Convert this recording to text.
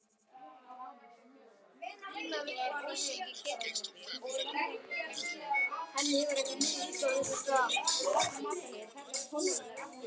Hinrika, hvaða sýningar eru í leikhúsinu á mánudaginn?